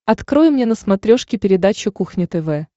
открой мне на смотрешке передачу кухня тв